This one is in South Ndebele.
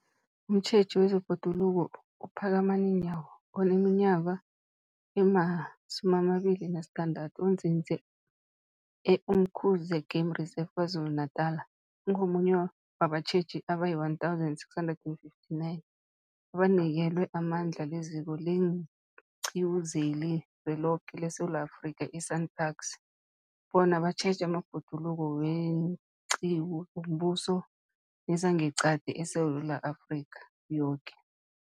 Umtjheji wezeBhoduluko uPhakamani Nyawo oneminyaka ema-26, onzinze e-Umkhuze Game Reserve KwaZulu-Natala, ungomunye wabatjheji abayi-1 659 abanikelwe amandla liZiko leenQiwu zeliZweloke leSewula Afrika, i-SANParks, bona batjheje amabhoduluko weenqiwu zombuso nezangeqadi ezingeSewula Afrika yoke.